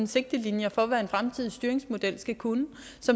sigtelinjer for hvad en fremtidig styringsmodel skal kunne den